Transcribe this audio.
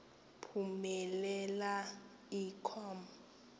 phumelela i com